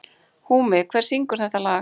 Húmi, hver syngur þetta lag?